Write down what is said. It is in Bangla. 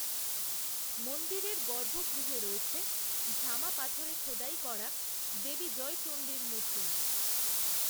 মন্দিরের গর্ভগৃহে রয়েছে ঝামা পাথরে খোদাই করা দেবী জয়চন্ডীর মূর্তি